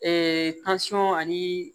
ani